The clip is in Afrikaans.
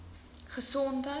gesondheid